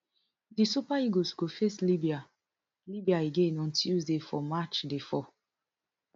di super eagles go face libya libya again on tuesday for match day four